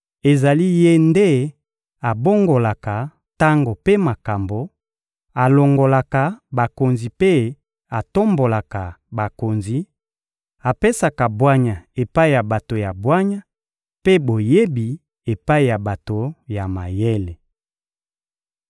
Ezali Ye nde abongolaka tango mpe makambo, alongolaka bakonzi mpe atombolaka bakonzi, apesaka bwanya epai ya bato ya bwanya mpe boyebi epai ya bato ya mayele.